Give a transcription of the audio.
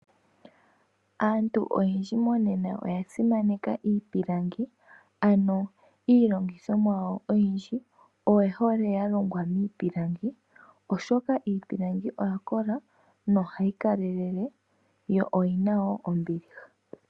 Aantu oyendji monena oya simaneka iipilangi. Ano iilongithomwa yawo oyindji oye hole ya longwa miipilangi, oshoka iipilangi oya kola nohayi kalelele yo oyina woo ombiliha.